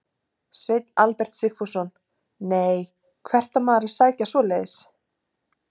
Sveinn Albert Sigfússon: Nei, hvert á maður að sækja svoleiðis?